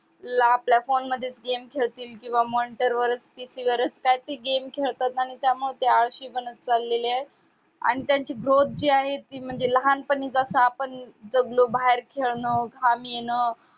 ला आपला phone मधेच gemes खेडतील किंवा monitor वर PC वरच काई ते game खेडतात आणि त्या मुळे ते आळशी बनत चालेले आहे आणि त्यांची growth जी आहे ती म्हणजे लहानपणीच असं आपण जगलो बाहेर खेडणं घाम येणं